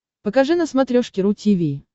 покажи на смотрешке ру ти ви